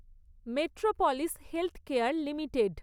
metropolis healthcare limited